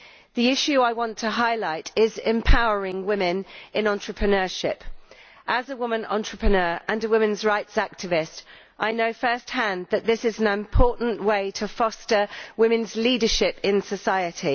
The issue I want to highlight is empowering women in entrepreneurship. As a woman entrepreneur and a women's rights activist, I know first hand that this is an important way to foster women's leadership in society.